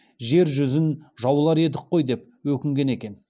жер жүзін жаулар едік қой деп өкінген екен